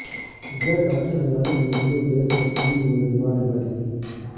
جج Arshad Malik video case میں تین ملزمان بری